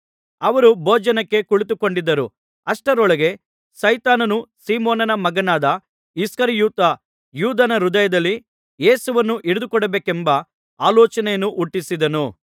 ಅವರು ಭೋಜನಕ್ಕೆ ಕುಳಿತುಕೊಂಡಿದ್ದರು ಅಷ್ಟರೊಳಗೆ ಸೈತಾನನು ಸೀಮೋನನ ಮಗನಾದ ಇಸ್ಕರಿಯೋತ ಯೂದನ ಹೃದಯದಲ್ಲಿ ಯೇಸುವನ್ನು ಹಿಡಿದುಕೊಡಬೇಕೆಂಬ ಆಲೋಚನೆಯನ್ನು ಹುಟ್ಟಿಸಿದನು